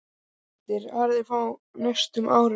Nokkrar hugmyndir aðrar frá næstu árum